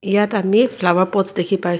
ইয়াত আমি flower pots দেখি পাইছ--